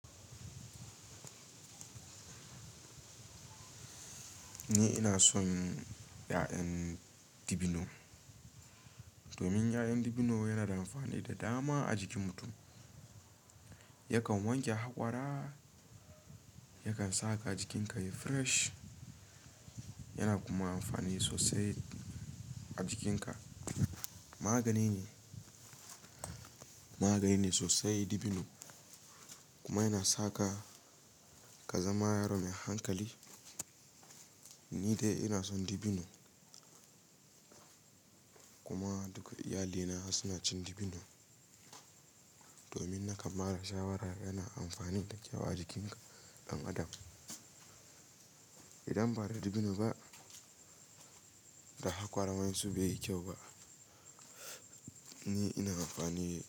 Ni ina son ƴa'ƴan dabino, domin ƴa'ƴan dabino yana da amfani da dama a jikin mutum. Yakan wanke hakwara, yakan saka jikinka yayi fresh, yana kuma amfani sosai a jikinka. Magani ne, magani ne sosai dabino. Kuma yana saka ka zama yaro mai hankali. Ni dai ina son dabino. Kuma duka iyalina suna cin dabino, domin naka mara shawara yana amfani da kyau a jikin ɗan adam. Idan ba da dabino ba, da hakwara man su bai yi kyau ba. Ni ina amfani da.